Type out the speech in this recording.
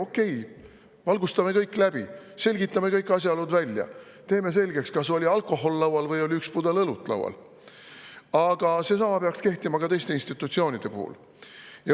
Okei, valgustame kõik läbi, selgitame kõik asjaolud välja, teeme selgeks, kas laual oli alkohol või üks pudel õlut, aga selline peaks kehtima ka teiste institutsioonide puhul.